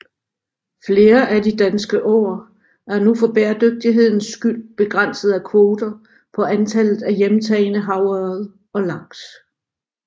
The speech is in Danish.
Flere af de danske åer er nu for bæredygtighedens skyld begrænset af kvoter på antallet af hjemtagne havørred og laks